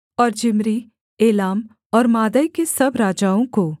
और Zimri Elam और Madai के सब राजाओं को